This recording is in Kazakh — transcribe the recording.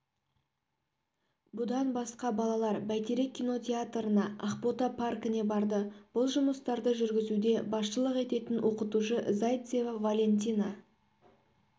бұдан басқа балалар байтерек кинотеатрына ақбота паркіне барды бұл жұмыстарды жүргізуде басшылық ететін оқытушы зайцева валентина